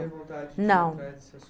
não